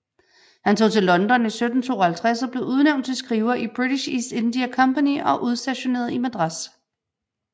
Han tog til London i 1752 og blev udnævnt til skriver i British East India Company og udstationeret i Madras